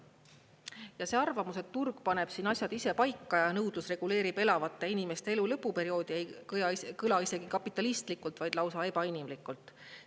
Ja see arvamus, et turg paneb asjad ise paika ja nõudlus reguleerib elavate inimeste elu lõpuperioodi, ei kõla isegi kapitalistlikult, vaid lausa ebainimlikult.